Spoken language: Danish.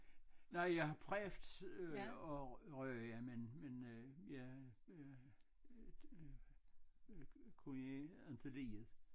Nej jeg har prøvet øh at ryge men men øh jeg øh øh øh kunne ikke rigtig lide det